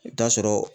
I bɛ taa sɔrɔ